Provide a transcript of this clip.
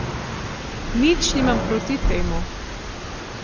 Nič nimam proti temu.